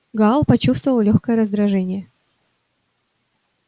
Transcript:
гаал почувствовал лёгкое раздражение